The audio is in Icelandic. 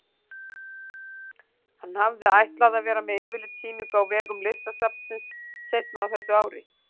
Hann hafði ætlað að vera með yfirlitssýningu á vegum Listasafnsins seinna á þessu ári.